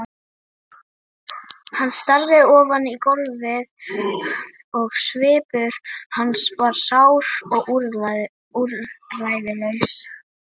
Hann starði ofan í gólfið og svipur hans var sár og úrræðalaus.